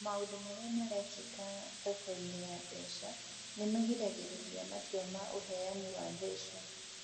Maũndũ marĩa marekĩka thoko-inĩ ya mbeca nĩ magiragĩrĩria matua ma ũheani wa mbeca.